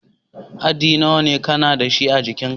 Haddi nawa ka na da shi a'jikin ka?